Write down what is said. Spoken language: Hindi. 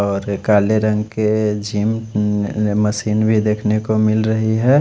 और काले रंग की झिम मेसिन भी देख ने को मिल रही है।